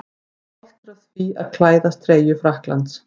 Ég er stoltur af því að klæðast treyju Frakklands.